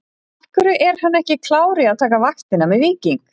Af hverju er hann ekki klár í að taka vaktina með Víking?